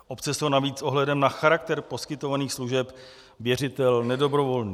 Obce jsou navíc s ohledem na charakter poskytovaných služeb věřitel nedobrovolný.